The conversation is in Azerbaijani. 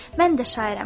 Mən də şairəm.